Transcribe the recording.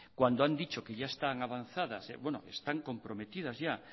cuando han dicho que ya están avanzadas están comprometidas ya